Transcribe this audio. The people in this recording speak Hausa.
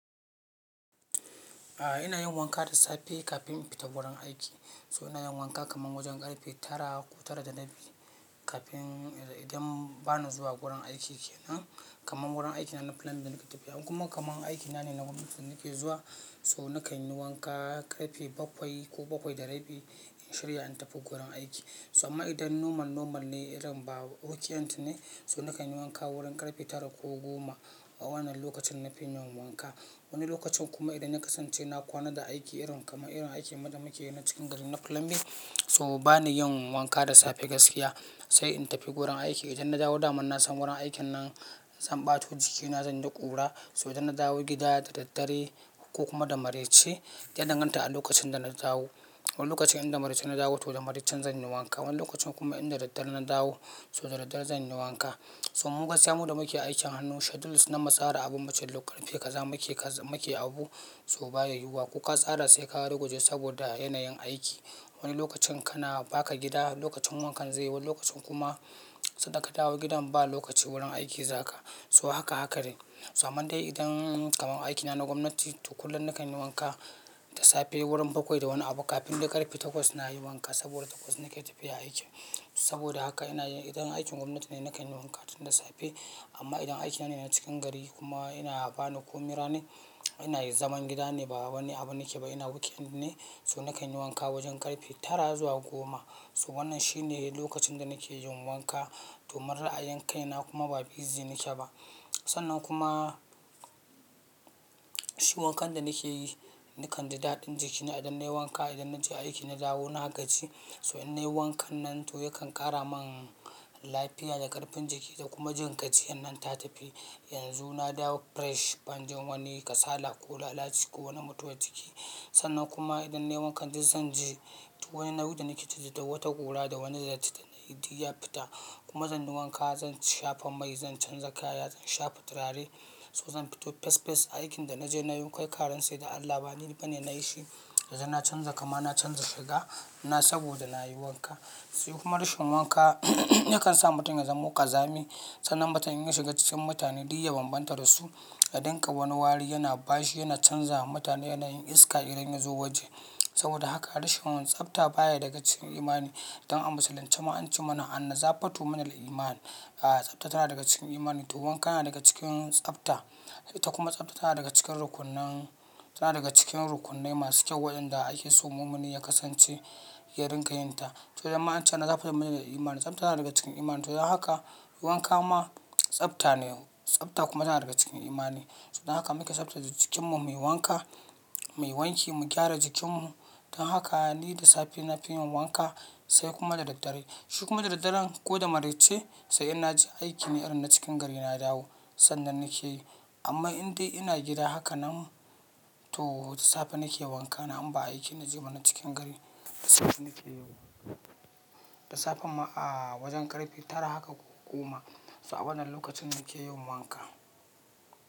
A'a ina yin wanka da safe kafin in fita wurin aiki. So ina yin wanka kaman wajen ƙarfe tara ko tara da rabi kafin idan ba na zuwa wurin aiki kenan. Kaman wurin aikina na plumbing da nake tafiya. In kuma kaman aikina ne na gwamnati da nake zuwa so nakan yi wanka ƙarfe bakwai ko bakwai da rabi in shirya in tafi wurin aiki. So amma idan normal, normal ne irin ba weekend ne so nakan yi wanka wurin ƙarfe tara ko goma. A wannan lokacin na fi yin wanka. Wani lokacin kuma idan na kasance na kwana da aiki irin kaman irin aikin mu da muke yi na cikin gari na plumbing so ba ni yin wanka da safe gaskiya. Sai in tafi wurin aiki idan na dawo daman na san wurin aikin nan zan ɓato jikina zan yi da ƙura. So idan na dawo gida da daddare ko kuma da maraice, ya danganta a lokacin da na dawo. Wani lokacin in da maraice na dawo to da maraicen zan yi wanka. Wani lokacin kuma idan da daddare na dawo so da daddare zan yi wanka. To mu gaskiya mu da muke aikin hannu schedules na mu tsara abun wancan lokacin. Ƙarfe kaza muke abu so baya yiwuwa ko ka tsara sai ka ruguje saboda yanayin aiki. Wani lokacin kana baka gida wani lokacin wankan zai zo, wani lokacin kuma sanda ka dawo gidan ba lokaci wurin aiki zaka. So haka, haka ne. So amma dai idan kaman aikina na gwamnati to kullum nakan yi wanka da safe wurin bakwai da wani abu kafin dai ƙarfe takwas na yi wanka saboda takwas nake tafiya aikin saboda haka ina yin idan aikin gwamnati ne nakan yi wanka tun da safe. Amma idan aikina ne na cikin gari kuma ina bana komai ne ranar ina zaman gida ne ba wai wani abu nake ba ina weekend ne so nakan yi wanka wajen ƙarfe tara zuwa goma. So wannan shine lokacin da nake yin wanka domin ra'ayin kaina kuma ba busy nake ba. Sannan kuma shi wankan da nake yi, ni kan ji daɗin jikina idan nayi wanka idan na je aiki na dawo na gaji so in nayi wankan nan to yakan ƙara mun lafiya da ƙarfin jiki da kuma jin gajiyan nan ta tafi. Yanzu na dawo fresh ban jin wani kasala ko lalaci ko wani mutuwar jiki. Sannan kuma idan nayi wankan duk zan ji duk wani nauyi da nake ji da wata ƙura da wani datti da na yi duk ya fita kuma zan yi wanka zan shafa mai zan canza kaya zan shafa turare so zan fito fes, fes aikin da naje nayi kai ka rantse da Allah ba ni bane nayi shi. Yanzu na canza kama na canza shiga na saboda nayi wanka. Sai kuma rashin wanka yakan sa mutum ya zamo ƙazami. Sannan mutum in ya shiga cikin mutane duk ya bambanta da su. Ya dinga wani wari yana bashi yana canza ma mutane yanayin iska idan ya zo waje. Saboda haka rashin tsafta baya daga cikin imani don a musulunce ma an ce mana "Anna za fatu min al-iman". A'a tsafta tana daga cikin imani to wanka yana daga cikin tsafta. Ta kuma tsafta tana daga cikin rukunnan, tana daga cikin rukunnai masu kyau waƴanda ake so mumini ya kasance ya rinƙa yin ta. To dan ma ance "Anna za fatu min al-iman", tsafta yana daga cikin imani. To don haka wanka ma tsafta ne. Tsafta kuma tana daga cikin imani. Don haka muke tsaftace jikinmu, mu yi wanka, mu yi wanki, mu gyara jikinmu. Don haka ni da safe na fi yin wanka sai kuma da daddare. Shi kuma da daddare ko da maraice sai in naje aiki ne irin na cikin gari na dawo sannan nake yi. Amma in dai ina gida haka nan to da safe nake wanka na inba aiki na je ba na cikin gari da safe nake yi. Da safe ma a'a wajen ƙarfe tara haka ko goma. So a wannan lokacin nake yin wanka.